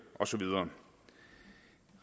og så videre